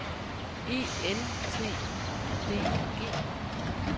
E N T Y D I G